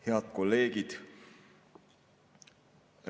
Head kolleegid!